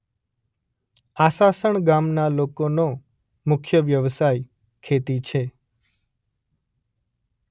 આસાસણ ગામના લોકોનો મુખ્ય વ્યવસાય ખેતી છે